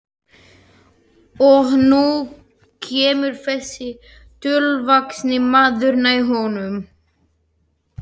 Og nú kemur þessi tröllvaxni maður nær honum.